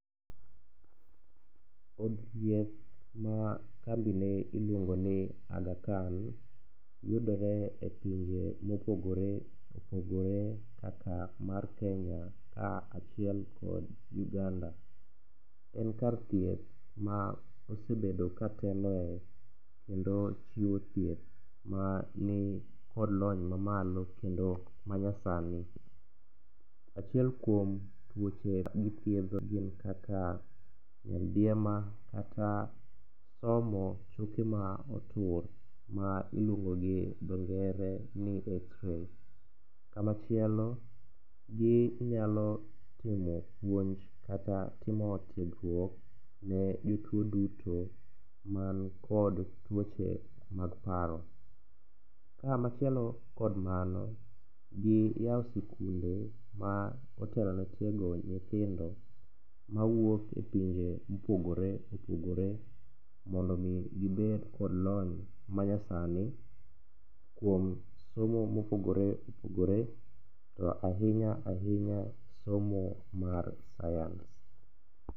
Od thieth ma kambine iluongo ni Aghakan yudore e pinje mopogore opogore kaka mar Kenya kaachiel kod Uganda. En kar thieth ma osebedo kateloe kendo chiwo thieth manikod lony mamalo kendo manyasani. Achiel kuom tuoche magithiedho ginn kaka nyaldiema kata somo choke motur ma iluongo gi dho ngere ni xray. Kamachielo ginyalo timo puonj kata timo tiegruok ne jotuo duto makod tuoche mag paro. Kamachielo kod mano, giyawo sikunde ma otelone tiego nyithindo mawuok e pinje mopogore opogore mondo omi gibed kod lony manyasani kuom somo mopogore opogore to ahinya ahinya somo mar science.